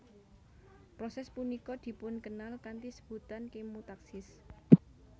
Proses punika dipunkenal kanthi sebutan kemotaksis